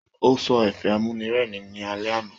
O sọ ẹ̀fẹ̀ amúnírẹ́rìn ní alẹ́ àna.